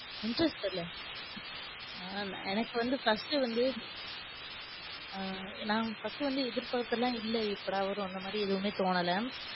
Interest தெரியல ஆஹ் எனக்கு வந்து first வந்து ஆஹ் நான் first வந்து எதிர்பாத்து எல்லாம இல்ல, எப்படா வரும் அந்தமாதிரி எல்லாமே தோனல.